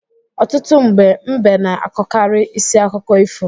Ọtụtụ mgbe, mbe na-akọkarị isi akụkọ ifo.